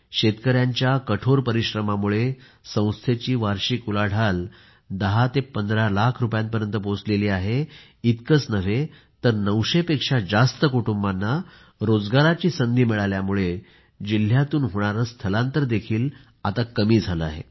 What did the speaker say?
शेतकयांच्या कठोर परिश्रमामुळे संस्थेची वार्षिक उलाढाल केवळ 10 ते 15 लाख रुपयांपर्यंत पोहचली नाही तर 900 पेक्षा जास्त कुटुंबांना रोजगाराची संधी मिळाल्यामुळे जिल्ह्यातून होणारे पलायन देखील कमी झाले आहे